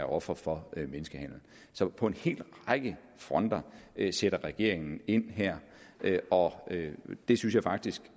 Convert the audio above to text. offer for menneskehandel så på en hel række fronter sætter regeringen ind her og det synes jeg faktisk